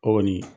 O kɔni